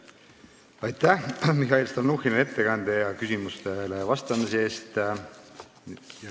Aitäh, Mihhail Stalnuhhin, ettekande ja küsimustele vastamise eest!